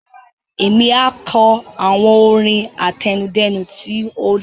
Émi a kọ àwọn orin àtẹnudẹ́nu tí o dára